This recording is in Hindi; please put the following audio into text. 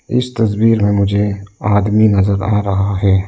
इस तस्वीर में मुझे आदमी नजर आ रहा है।